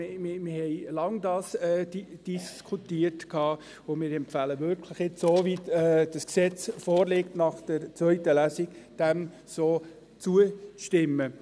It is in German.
Wir haben dies lange diskutiert, und wir empfehlen wirklich auch, dem Gesetz, so wie es nach der zweiten Lesung vorliegt, zuzustimmen.